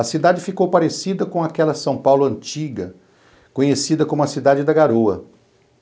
A cidade ficou parecida com aquela São Paulo antiga, conhecida como a Cidade da Garoa.